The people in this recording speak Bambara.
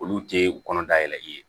Olu tɛ kɔnɔna da yɛlɛli ye